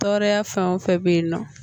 Tɔɔrɔya fɛn o fɛn bɛ yen nɔ